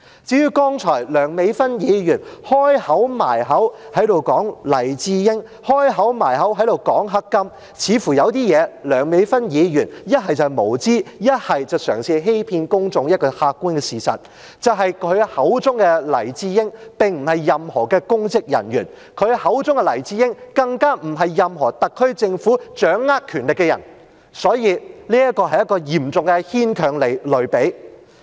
至於剛才梁美芬議員"開口埋口"說黎智英，"開口埋口"說黑金，似乎有些事情，梁美芬議員不是無知，便是嘗試欺騙公眾一個客觀的事實，就是她口中的黎智英，既不是任何公職人員，更不是任何特區政府掌握權力的人，所以，這是一個嚴重牽強的類比。